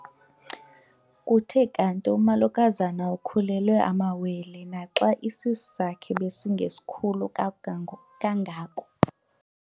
Kuthe kanti umolokazana ukhulelwe amawele naxa isisu sakhe besingesikhulu kangako.